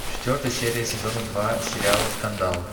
четвертая серия сезона два сериала скандал